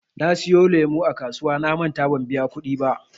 Na siyo lemu a kasuwa namanta ban biya kuɗi ba.